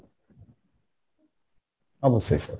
অবশ্যই sir